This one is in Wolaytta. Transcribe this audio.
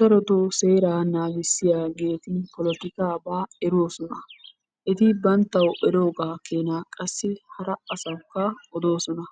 Darotoo seeraa naagissiyageeti polotikaaba eroosona. Eti banttaw erooga keenaa qassi hara asawukka odossona.